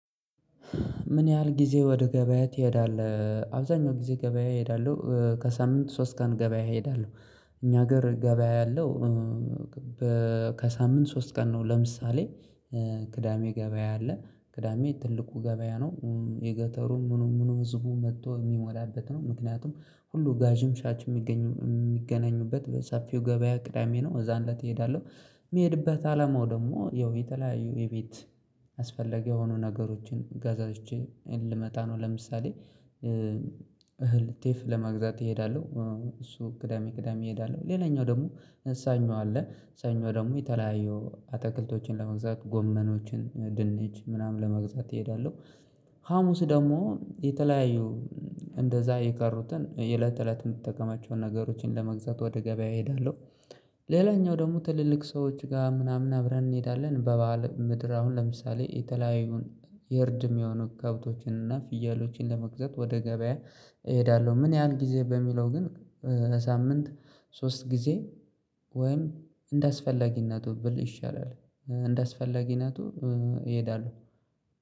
ምን ያህል ጊዜ ወደ ገበያ ትሄዳለህ? አብዛኛው ጊዜ ገበያ እሄዳለሁ ከሳምንት ሶስት ቀን ገበያ እሄዳለሁ። እኛ ሀገር ገበያ ያለው ከሳምንት ሶስት ቀን ነው። ለምሳሌ ቅዳሜ ገበያ አለ ቅዳሜ ትልቁ ገበያ ነው የገጠሩም ምኑም ምኑም ህዝቡም መጥቶ የሚሞላበት ነው ምክንያቱም ሁሉ ጋዥም ሻች የሚገናኙበት በሰፊው ገበያ ቅዳሜ ነው እዛን ላተሄዳለሁ እሄዳለሁ። የሚሄድበት አለማው ደግሞ ያው የተለያዩ የቤት ያስፈለገው የሆኑ ነገሮችን ገዛዝቼን ልመጣ ነው። ለምሳሌ እህል ጤፍ ለመግዛት እሄዳለሁ እሱ ቅዳሜ ቅዳሜ እሄዳለሁ። ሌላኛው ደግሞ እ ሰኞ አለ እ ሰኞ ደግሞ የተለያየው አትክልቶችን ለመግዛት ጎመኖችን ድንች ምናምን ለመግዛት እሄዳለሁ። ሀሙስ ደግሞ የተለያዩ እንደዛ የቀሩትን የእለት እለት የምትጠቀማቸውን ነገሮችን ለመግዛት ወደ ገበያ እሄዳለሁ። ሌላኛው ደግሞ ትልልቅ ሰዎች ጋር ምናምን አብረን እንሄዳለን በበዓል ምድር አሁን ለምሳሌ የተለያዩን የርድም የሆኑ ከብቶችን እና ፍየሎችን ለመግዛት ወደ ገበያ እሄዳለሁ። ምን ያህል ጊዜ በሚለው ግን ሳምንት ሶስት ጊዜ ወይም እንደአስፈላጊነቱ ብል ይሻላል እንደአስፈላጊነቱ እሄዳለሁ